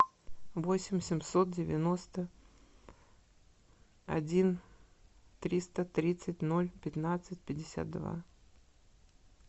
восемь семьсот девяносто один триста тридцать ноль пятнадцать пятьдесят два